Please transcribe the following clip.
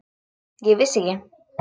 Ég vissi ekki.